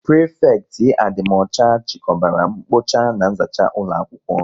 Prịfekịtị adịmọcha chikọbara mkpocha na nzacha ụlọakwụkwọ